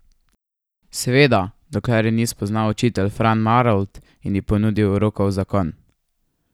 Seveda, dokler je ni spoznal učitelj Fran Marolt in ji ponudil roko v zakon.